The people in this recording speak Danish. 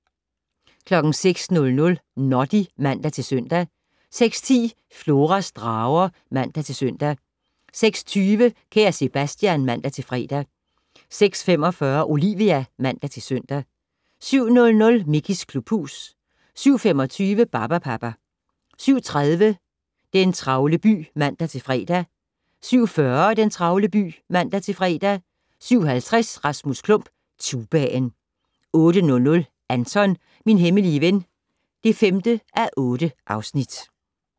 06:00: Noddy (man-søn) 06:10: Floras drager (man-søn) 06:20: Kære Sebastian (man-fre) 06:45: Olivia (man-søn) 07:00: Mickeys klubhus 07:25: Barbapapa 07:30: Den travle by (man-fre) 07:40: Den travle by (man-fre) 07:50: Rasmus Klump - tubaen 08:00: Anton - min hemmelige ven (5:8)